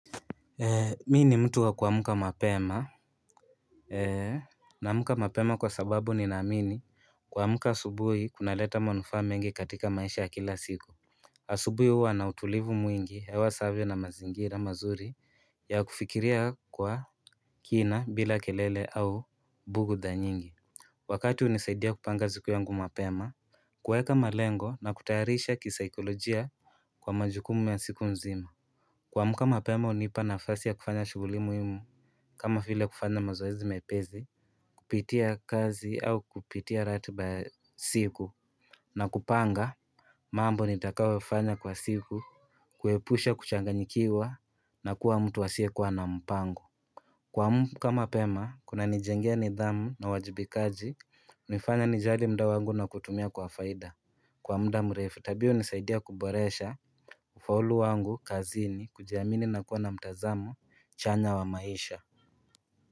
Mimi ni mtu wa kuamka mapema naamka mapema kwa sababu ninaamini kuamka asubuhi kunaleta manufaa mengi katika maisha ya kila siku asubuhi huwa na utulivu mwingi hewa safi na mazingira mazuri ya kufikiria kwa kina bila kelele au bugudha nyingi Wakati hunisaidia kupanga siku yangu mapema kuweka malengo na kutaarisha kisaikolojia kwa majukumu ya siku nzima kuamka mapema hunipa nafasi ya kufanya shuguli muimu kama vile kufanya mazoezi mepesi Kupitia kazi au kupitia ratiba siku na kupanga mambo nitakayofanya kwa siku kuepusha kuchanganyikiwa na kuwa mtu asiyekuwa na mpango kuamka mapema kunanijengea nidhamu na uwajibikaji nifanya nijali muda wangu na kutumia kwa faida Kwa muda mrefu tabia hunisaidia kuboresha Ufaulu wangu kazini kujiamini na kuwa na mtazamo chanya wa maisha.